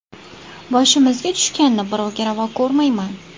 Boshimizga tushganini birovga ravo ko‘rmayman.